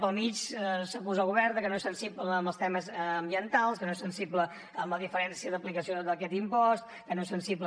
pel mig s’acusa el govern de que no és sensible amb els temes ambientals que no és sensible amb la diferència d’aplicació d’aquest impost que no és sensible